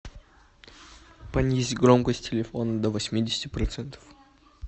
понизь громкость телефона до восьмидесяти процентов